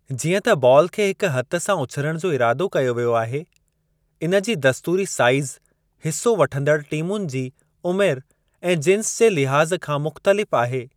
जीअं त बॉल खे हिकु हथु सां उछिरणु जो इरादो कयो वियो आहे। इन जी दस्तूरी साईज़ हिस्सो वठंदड़ टीमुनि जी उमिरि ऐं जिंस जे लिहाज़ खां मुख़्तलिफ़ आहे।